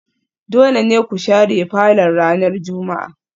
Dole ne ku share falon ranar Juma'a